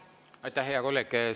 Aitäh, hea kolleeg!